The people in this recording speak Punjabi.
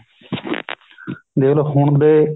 ਦੇਖੋਲੋ ਹੁਣ ਦੇ